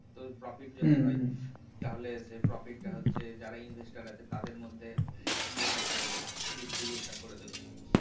তো profit হম যদি হয় তাহলে সেই profit টা যারা investor আছে তাদের মধ্যে ইয়ে টা করে দেবে distribute টা করে দেবে